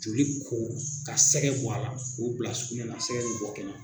Joli ko ka sɛgɛ bɔ a la k'o bila sugunɛ na sɛgɛ be bɔ kɛnɛm